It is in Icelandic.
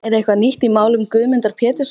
Er eitthvað nýtt í málum Guðmundar Péturssonar?